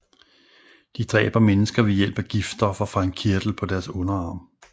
De dræber mennesker ved hjælp af giftstoffer fra en kirtel på deres underarm